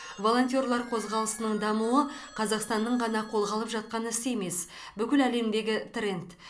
волонтерлар қозғалысының дамуы қазақстанның ғана қолға алып жатқан ісі емес бүкіл әлемдегі тренд